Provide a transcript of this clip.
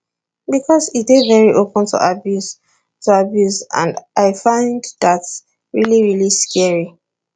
becos e dey veri open to abuse to abuse and i find dat really really scary